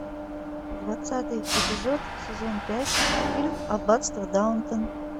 двадцатый эпизод сезон пять фильм аббатство даунтон